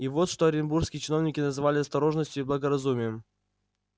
и вот что оренбургские чиновники называли осторожностию и благоразумием